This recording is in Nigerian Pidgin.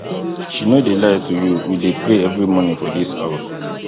she no dey lie to you we dey pray every morning for dis house